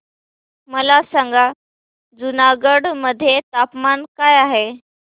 मला सांगा जुनागढ मध्ये तापमान काय आहे